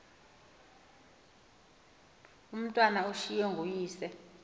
umatwana ushiywe nguyise